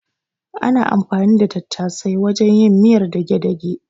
Ana anfani da tattasai wajen yin miyar dage-dage.